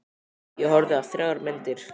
Ég horfði á þrjár myndir.